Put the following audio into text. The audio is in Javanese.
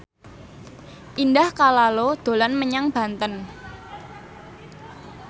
Indah Kalalo dolan menyang Banten